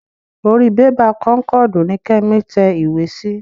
Orí bébà kónkọ̀dù ni Kẹ́mi tẹ ìwé sí.